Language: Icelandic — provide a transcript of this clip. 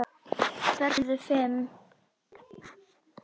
Börnin urðu fimm.